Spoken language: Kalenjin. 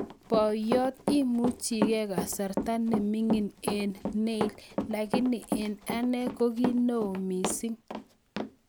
Poyot, imuchi ki kasarta ne mining' eng' Neil, lakini eng' ane ko ki oo missing'